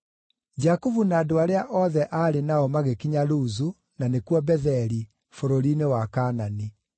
Jakubu na andũ arĩa othe aarĩ nao magĩkinya Luzu (na nĩkuo Betheli), bũrũri-inĩ wa Kaanani.